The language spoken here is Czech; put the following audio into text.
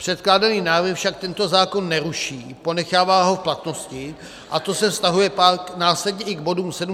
Předkládaný návrh však tento zákon neruší, ponechává ho v platnosti, a to se vztahuje pak následně i k bodům 709 a 710 návrhu.